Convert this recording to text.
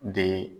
De